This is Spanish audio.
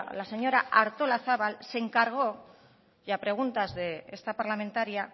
la señora artolazabal se encargó y a preguntas de esta parlamentaria